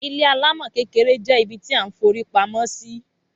Ilé alámò kékeré je ibi tí a n forí pamó sì